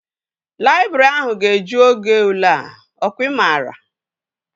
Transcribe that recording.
Laịbrị ahụ ga-eju oge ule a. Ọ kwa ị maara?